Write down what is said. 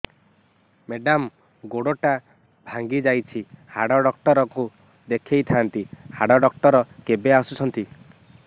madam ଗୋଡ ଟା ଭାଙ୍ଗି ଯାଇଛି ହାଡ ଡକ୍ଟର ଙ୍କୁ ଦେଖାଇ ଥାଆନ୍ତି ହାଡ ଡକ୍ଟର କେବେ ଆସୁଛନ୍ତି